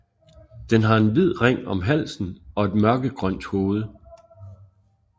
Den har en hvid ring om halsen og et mørkegrønt hoved